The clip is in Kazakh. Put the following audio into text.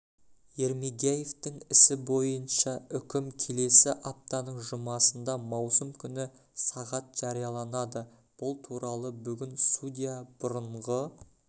ермегияевтің ісі бойынша үкім келесі аптаның жұмасында маусым күні сағат жарияланады бұл туралы бүгін судья бұрынғы